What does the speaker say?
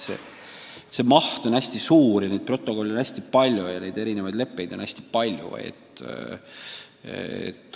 Nii et see maht on hästi suur, neid leppeid ja protokolle on hästi palju.